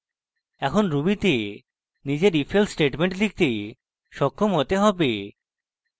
এখন ruby তে নিজের ifelse statement লিখতে সক্ষম হতে হবে